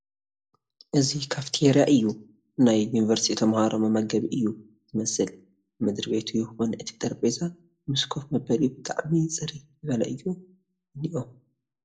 እዚ ካፊተሪያ እዩ ናይ ዩኒቨርሲቲ ተመሃሮ መመገቢ እዩ ዝመስል ምድር-ቤቱ ይኹን እቲ ጠረቤዛ ምስ ኮፍ መበሊኡ ብጣዕሚ ፅርይ ዝበለ እዩ እኒኤ።